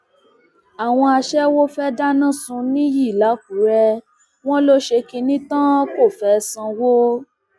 àwọn aṣẹwó fée dáná sun níyì làkùrẹ wọn ló ṣe kínní tán kó fẹẹ sanwó